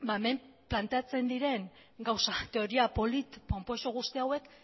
hemen planteatzen diren gauzak teoria polit ponpoxo guzti hauek